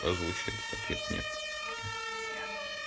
озвучь этот ответ нет нет нет